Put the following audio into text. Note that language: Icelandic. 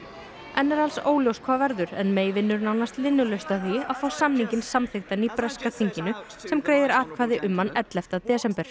enn er alls óljóst hvað verður en vinnur nánast linnulaust að því að fá samninginn samþykktan í breska þinginu sem greiðir atkvæði um hann ellefta desember